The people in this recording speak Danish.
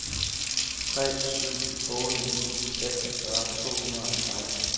tre syv otte ni seksogfyrre to hundrede og seksten